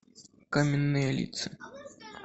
каменные лица